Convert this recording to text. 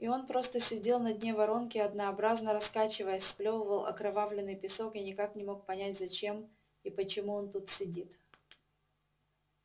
и он просто сидел на дне воронки однообразно раскачиваясь сплёвывал окровавленный песок и никак не мог понять зачем и почему он тут сидит